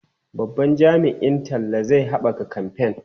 Babban jami'in talla zai haɓaka kamfen.